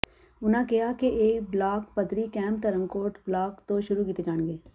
ਉਨ੍ਹਾਂ ਕਿਹਾ ਕਿ ਇਹ ਬਲਾਕ ਪੱਧਰੀ ਕੈਂਪ ਧਰਮਕੋਟ ਬਲਾਕ ਤੋ ਸ਼ੁਰੂ ਕੀਤੇ ਜਾਣਗੇ